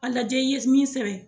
A lajɛ i ye min sɛbɛn